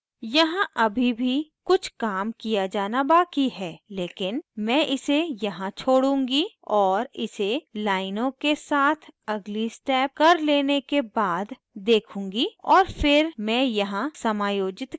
यहाँ अभी भी कुछ काम किया जाना बाकी है लेकिन मैं इसे यहाँ छोड़ूंगी और इसे लाइनों के साथ अगली step कर leave के बाद देखूँगी और फिर मैं यहाँ समायोजित कर सकती हूँ